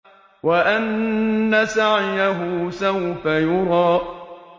وَأَنَّ سَعْيَهُ سَوْفَ يُرَىٰ